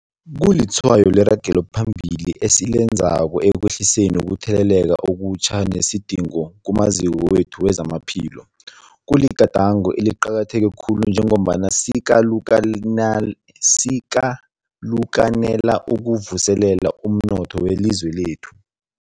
Kulitshwayo leragelo phambili esilenzako ekwehliseni ukutheleleka okutjha nesidingo kumaziko wethu wezamaphilo. Kuligadango eliqakatheke khulu njengombana sikalukanela ukuvuselela umnotho welizwe lekhethu.